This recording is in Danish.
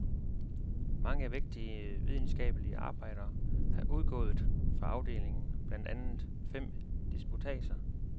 Mange vægtige videnskabelige arbejder er udgået fra afdelingen, blandt andet fem disputatser.